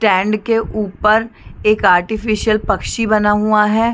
Stand के ऊपर एक अर्टिफिकल पक्षी बना हुआ हैं ।